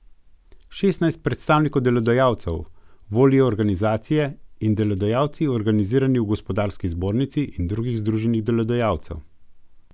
Šestnajst predstavnikov delodajalcev volijo organizacije in delodajalci, organizirani v gospodarski zbornici in drugih združenjih delodajalcev.